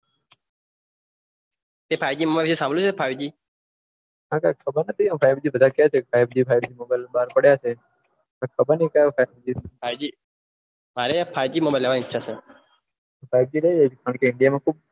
તે five G mobile નું સંભ્લુય છે હો કઈ ખબર નથીફાઈવજી mobile બહાર પડિયા છે ખબર નથી કયો ફાઈવજી મારે ફાઈવજી લેવાની ઈચ્છા છે ફાઈવજી લઈલેજે કારણકે